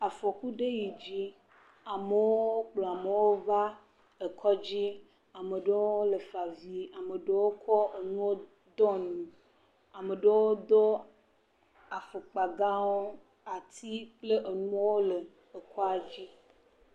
afɔku ɖe yidzi amowo kplɔ amowo va ekɔdzi amoɖowo le favi amoɖowo kɔ enuwo dɔ nume amoɖowo dó afɔkpa gãwo ati kple enuowo ke ekɔadzi